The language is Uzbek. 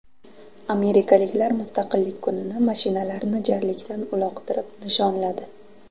Amerikaliklar Mustaqillik kunini mashinalarni jarlikdan uloqtirib nishonladi .